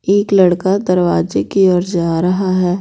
एक लड़का दरवाजे की ओर जा रहा है।